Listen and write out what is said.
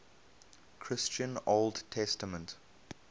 christian old testament